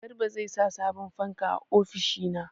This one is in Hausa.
Garba zai sa sabon fanka a ofishina.